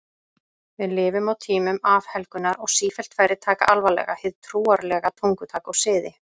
Við lifum á tímum afhelgunar og sífellt færri taka alvarlega hið trúarlega tungutak og siði.